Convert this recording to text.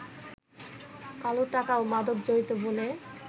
কালো টাকা ও মাদক জড়িত বলে